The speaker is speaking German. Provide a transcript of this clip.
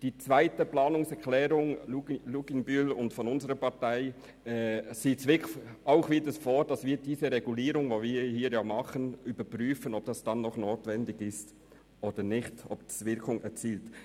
Die zweite Planungserklärung von Grossrätin Luginbühl und unserer Partei sieht vor, dass überprüft werden soll, ob die Regulierungscheckliste noch notwendig ist und tatsächlich eine Wirkung erzielt.